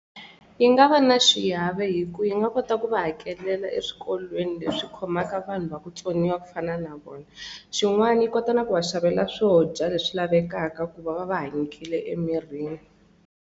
Yi nga va na xiave hi ku yi nga kota ku va hakelela eswikolweni leswi khomaka vanhu va ku vutsoniwa ku fana na vona xin'wana yi kota na ku va xavela swo dya leswi lavekaka ku va va va hanyekile emirini.